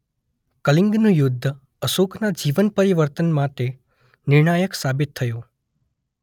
કલિંગનુ યુધ્ધ અશોકના જીવન પરિવર્તન માટે નિર્ણાયક સાબિત થયું.